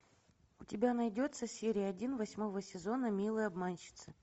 у тебя найдется серия один восьмого сезона милые обманщицы